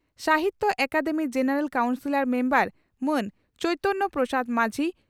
Sahitya Akademi general council member ᱢᱟᱱ ᱪᱚᱭᱛᱚᱱᱭᱚ ᱯᱨᱚᱥᱟᱫᱽ ᱢᱟᱹᱡᱷᱤ